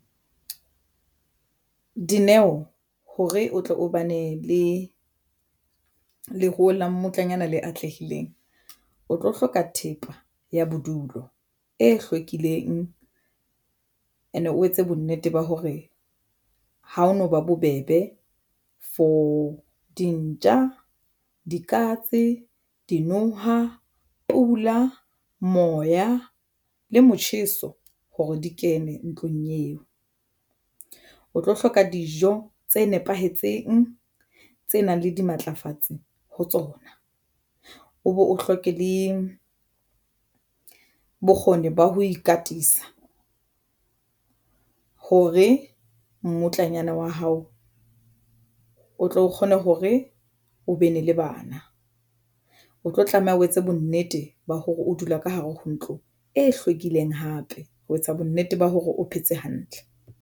Dineo hore o tle o bane le leruo la mmutlanyana le atlehileng o tlo hloka thepa ya bodulo e hlwekileng and e etse bonnete ba hore ha o no ba bobebe for dintja, dikatse, dinoha, pula, moya le motjheso hore di kene ntlong eo. O tlo hloka dijo tse nepahetseng tse nang le dimatlafatsi ho tsona. O bo o hloke le bokgoni ba ho ikatisa hore mmutlanyana wa hao o tlo kgona hore o be ne le bana, o tlo tlameha o etse bonnete ba hore o dula ka hare ho ntlo e hlwekileng hape ho etsa bonnete ba hore o phetse hantle.